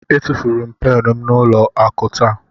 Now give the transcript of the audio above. Etufuru m pen m n'ụlọ akụ taa.